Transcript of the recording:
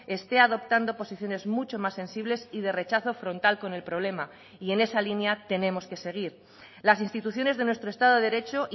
esté adoptando posiciones mucho más sensibles y de rechazo frontal con el problema y en esa línea tenemos que seguir las instituciones de nuestro estado de derecho